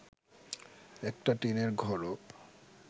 একটা টিনের ঘরও